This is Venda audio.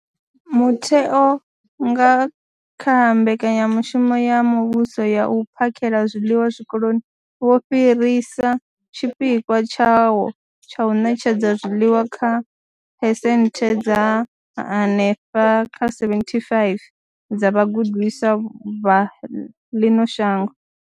Mutheo, nga kha mbekanyamushumo ya muvhuso ya u phakhela zwiḽiwa Zwikoloni, wo fhirisa tshipikwa tshawo tsha u ṋetshedza zwiḽiwa kha phesenthe dza henefha kha 75 dza vhagudiswa vha ḽino shango.